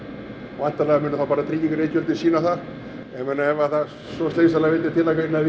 væntanlega munu þá bara sýna það ef svo slysalega vildi til